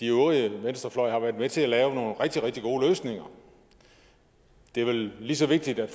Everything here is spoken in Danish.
øvrige venstrefløj har været med til at lave nogle rigtig rigtig gode løsninger det er vel lige så vigtigt at